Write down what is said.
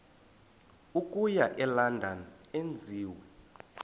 okuya elondon enziwe